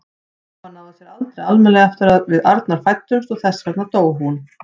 Mamma náði sér aldrei almennilega eftir að við Arnar fæddumst og þess vegna dó hún.